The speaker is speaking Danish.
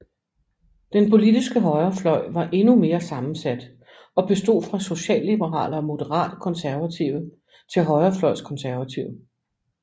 Den politiske højrefløj var endnu mere sammensat og bestod fra socialliberale og moderate konservative til højrefløjs konservative